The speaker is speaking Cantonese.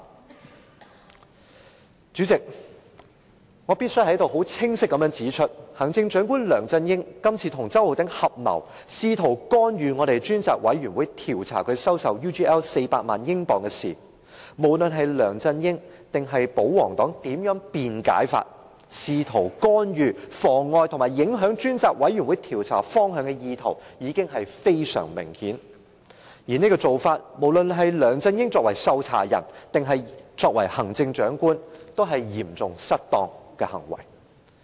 代理主席，我必須在此清晰指出，行政長官梁振英今次跟周浩鼎議員合謀，試圖干預專責委員會調查他收受 UGL 400萬英鎊的事宜，無論梁振英或保皇黨如何辯解，梁振英試圖干預、妨礙和影響專責委員會調查方向的意圖已經非常明顯，而這種做法，不論是梁振英作為受查人，還是作為行政長官，也是嚴重失當的行為。